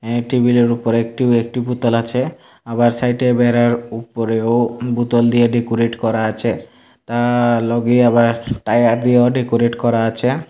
এই টেবিলের উপর একটিও একটি বোতল আছে আবার সাইটে বেড়ার উপরেও বোতল দিয়ে ডেকোরেট করা আছে তার লগে আবার টায়ার দিয়েও ডেকোরেট করা আছে।